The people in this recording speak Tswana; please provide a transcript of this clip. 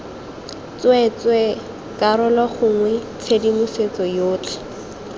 tsweetswee karolo gongwe tshedimosetso yotlhe